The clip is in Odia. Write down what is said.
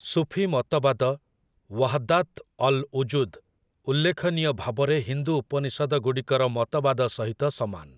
ସୁଫୀ ମତବାଦ 'ୱାହଦାତ୍ ଅଲ୍ ଉଜୁଦ୍' ଉଲ୍ଲେଖନୀୟ ଭାବରେ ହିନ୍ଦୁ ଉପନିଷଦଗୁଡ଼ିକର ମତବାଦ ସହିତ ସମାନ ।